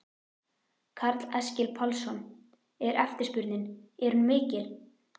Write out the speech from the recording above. Karl Eskil Pálsson: Er eftirspurnin, er hún mikil?